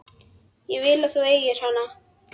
Ég vil að þú eigir hana.